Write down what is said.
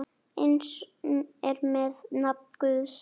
Eins er með nafn Guðs.